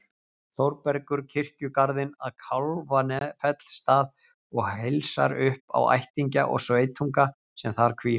Þórbergur kirkjugarðinn að Kálfafellsstað og heilsar upp á ættingja og sveitunga sem þar hvíla.